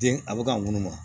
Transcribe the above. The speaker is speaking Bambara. Den a bɛ ka munu